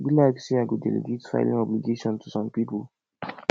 e be like say i go delegate filling obligation to some people